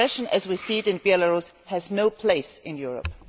Repression as we see it in Belarus has no place in Europe.